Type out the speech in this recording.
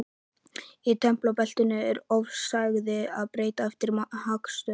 Í tempraða beltinu er loftslagið breytilegt eftir hnattstöðu.